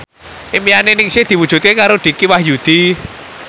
impine Ningsih diwujudke karo Dicky Wahyudi